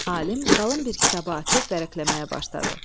Alim qalın bir kitabı açıb vərəqləməyə başladı.